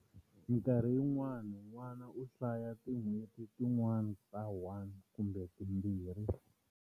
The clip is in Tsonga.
Minkarhi yin'wana n'wana u hanya tin'hweti tin'wana ta 1 kumbe timbirhi.